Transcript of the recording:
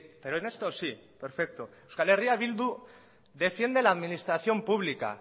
pero en esto sí perfecto euskal herria bildu defiende la administración pública